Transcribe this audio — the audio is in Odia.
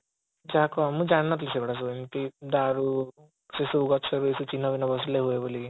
ଯାହା କହ ମୁଁ ଜାଣିନଥିଲି ସେ ଗୁଡା ସବୁ ଏମିତି ଦାରୁ ସେସବୁ ଗଛରେ ଚିହ୍ନ ବସିଲେ ହୁଏ ବୋଲି କି